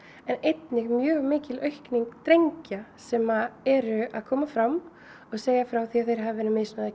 en einnig mjög mikil aukning drengja sem eru að koma fram og segja frá því að þeir hafi verið